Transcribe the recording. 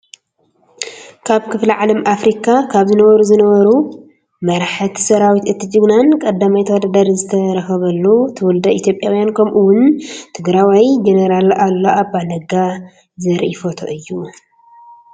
ካብ ክፍለ ዓለም ኣፍሪካ ካብ ዝነበሩ ዝነብሩ መራሕት ሰራዊት እቲ ጀግናን ቀዳማይ ተወዳዳሪ ዝይተረኸበርሉ ትውለደ ኢትዮጵያውን ከምኡ እወን ትግሮዋይ ጀነራል ኣሉላ ኣባነጋ ዘራኢ ፎቶ እዩ::